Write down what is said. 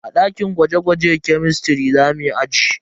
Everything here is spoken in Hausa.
A dakin gwaje-gwaje kemistiri za muyi aji.